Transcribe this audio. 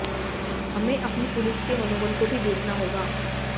हमें अपनी पुलिस के मनोबल को भी देखना होगा